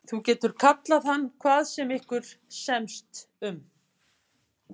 Þú getur kallað hann hvað sem ykkur semst um.